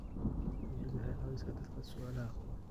Dawladdu waxay caawisaa dadka su'aalaha qaba.